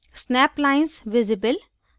snap lines visible